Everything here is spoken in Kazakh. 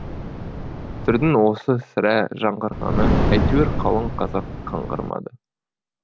түрдің осы сірә жаңғырғаны әйтеуір қалың қазақ қаңғырмады